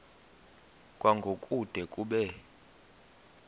kwango kude kube